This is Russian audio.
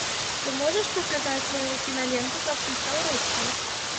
ты можешь показать киноленту как я стал русским